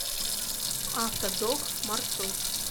автодок маршрут